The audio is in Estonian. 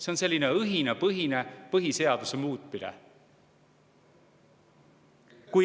See on selline õhinapõhine põhiseaduse muutmine.